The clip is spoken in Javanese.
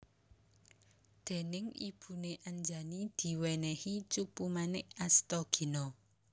Déning ibune Anjani diwènèhi Cupumanik Astagina